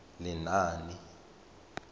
lenaane